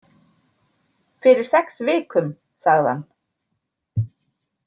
Fyrir sex vikum, sagði hann.